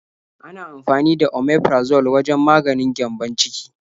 Ana amfani da Omeprazole wajen maganin gyambon ciki.